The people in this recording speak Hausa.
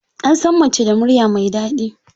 Ansan mace da murya mai dadi.